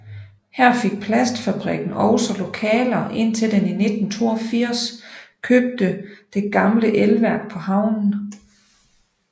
Her fik plastfabrikken også lokaler indtil den i 1982 købte det gamle elværk på havnen